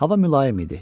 Hava mülayim idi.